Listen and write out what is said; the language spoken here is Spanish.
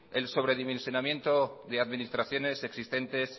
el sobredimensionamiento de administraciones existentes